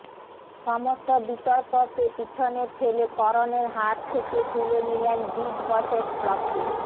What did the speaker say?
সমস্ত বিতর্ককে পিছনে ফেলে করণের হাত থেকে তুলে নিলেন বিগ বসের ট্রফি